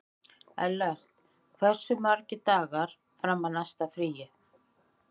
Ellert, hversu margir dagar fram að næsta fríi?